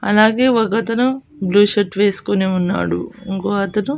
అలాగే ఒక అతను బ్లూ షర్ట్ వేసుకొని ఉన్నాడు ఇంకో అతను.